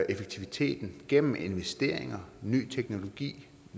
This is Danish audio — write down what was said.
effektiviteten gennem investeringer ny teknologi